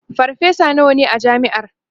farfesa nawa ne a jami'ar?